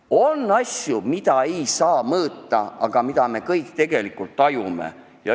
On asju, mida ei saa mõõta, aga mida me kõik tegelikult tajume.